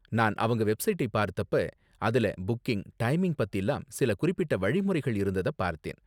நான் அவங்க வெப்சைட்டை பார்த்தப்ப அதுல புக்கிங், டைமிங் பத்திலாம் சில குறிப்பிட்ட வழிமுறைகள் இருந்தத பார்த்தேன்.